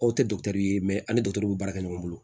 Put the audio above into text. Aw tɛ dɔkitɛriw ye ani bɛ baara kɛ ɲɔgɔn bolo